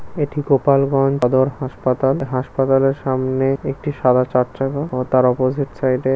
এটি গোপাল গন হাসপাতাল ।হাসপাতাল -এর সামনে একটি সাদা চারচাকা ও তার অপোজিট সাইড -এ।